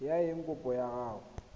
ya eng kopo ya gago